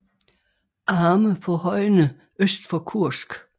Arme på højene øst for Kursk